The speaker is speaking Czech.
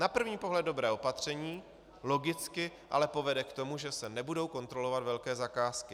Na první pohled dobré opatření, logicky ale povede k tomu, že se nebudou kontrolovat velké zakázky.